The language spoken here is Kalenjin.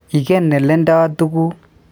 Igen aleandaa tuguk.